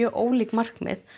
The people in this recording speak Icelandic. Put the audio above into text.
ólík markmið